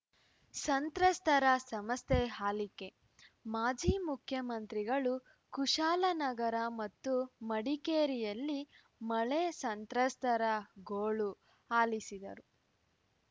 ಸಂತ್ರಸ್ತರ ಸಮಸ್ಯೆ ಹಲಿಕೆ ಮಾಜಿ ಮುಖ್ಯಮಂತ್ರಿಗಳು ಕುಶಾಲನಗರ ಮತ್ತು ಮಡಿಕೇರಿಯಲ್ಲಿ ಮಳೆ ಸಂತ್ರಸ್ತರ ಗೋಳು ಆಲಿಸಿದರು